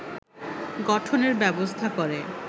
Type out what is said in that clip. গঠনের ব্যবস্থা করে